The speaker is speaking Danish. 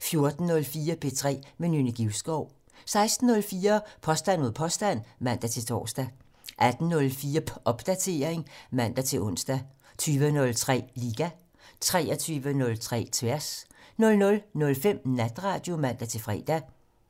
14:04: P3 med Nynne Givskov 16:04: Påstand mod påstand (man-tor) 18:04: Popdatering (man-ons) 20:03: Liga 23:03: Tværs 00:05: Natradio (man-fre)